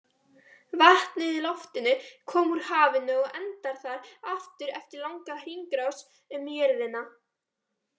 Vatnið í loftinu kom úr hafinu og endar þar aftur eftir langa hringrás um jörðina.